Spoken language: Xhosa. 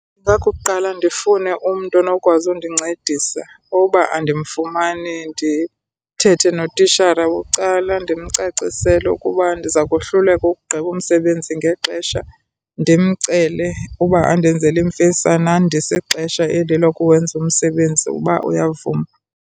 Ingakukuqala ndifune umntu onokwazi undincedisa. Uba andimfumane ndithethe notishara bucala, ndimcacisele ukuba ndiza kohluleka uwugqiba umsebenzi ngexesha. Ndimcele uba andenzele imfesana, andise ixesha eli lokuwenza umsebenzi uba uyavuma.